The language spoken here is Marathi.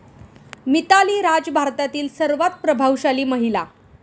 मिताली राज भारतातील सर्वात प्रभावशाली महिला